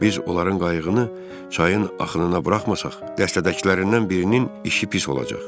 Biz onların qayığını çayın axınına buraxmasaq, dəstədəkilərindən birinin işi pis olacaq.